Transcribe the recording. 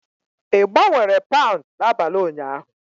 Ị gbanwere paụnd n'abalị ụnyaahụ?